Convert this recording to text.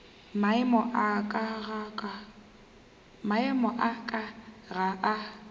maemo a ka ga a